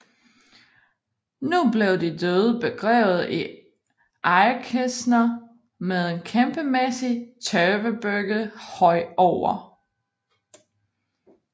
Nu blev de døde begravet i egekister med en kæmpemæssig tørvebygget høj over